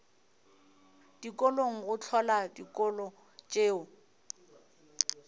dikolong go hlola dikolo tšeo